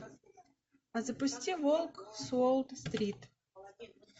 запусти волк с уолл стрит